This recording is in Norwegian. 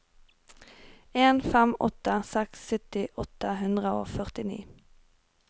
en fem åtte seks sytti åtte hundre og førtini